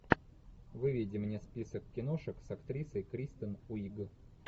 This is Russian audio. выведи мне список киношек с актрисой кристен уиг